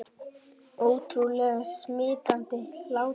Ótrúlega smitandi hlátur